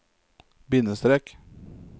bindestrek